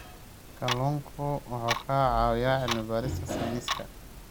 Kalluunku wuxuu ka caawiyaa cilmi-baarista sayniska.